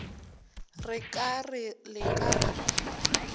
re ka re le ka